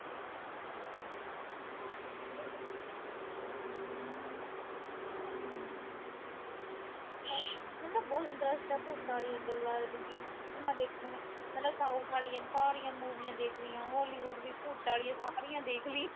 ਨਾਲੇ ਮੈਨੂੰ ਨਾ ਬਹੁਤ ਇੰਟਰਸਟ ਆ ਭੂਤਾਂ ਆਲੀਆ ਗੱਲਾਂ ਫਿਲਮਾਂ ਦੇਖਣ ਮਤਲਬ ਸਾਰੀਆਂ ਮੁੂਵੀਆ ਦੇਖ ਲੀਆਂਹ ਹੌਲੀਵੁੱਡ ਵੀ, ਭੂਤਾਂ ਆਲੀਆਂ ਸਾਰੀਆ ਦੇਖਲੀਆ।